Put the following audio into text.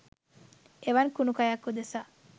එවන් කුණු කයක් උදෙසා